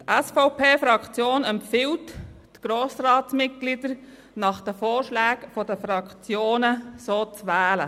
Die SVP-Fraktion empfiehlt, die Grossratsmitglieder nach den Vorschlägen der Fraktionen zu wählen.